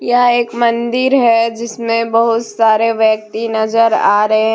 यह एक मंदिर है जिसमें बहुत सारे व्यक्ति नजर आ रहे हैं।